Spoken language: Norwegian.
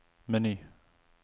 meny